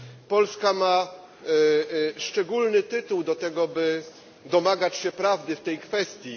Polska ma szczególny tytuł do tego, by domagać się prawdy w tej kwestii.